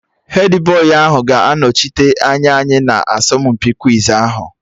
Hedbọyị ahụ ga-anọchite anya anyị na asọmpi kwiz ahụ